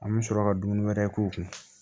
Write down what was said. An bɛ sɔrɔ ka dumuni wɛrɛ k'o kun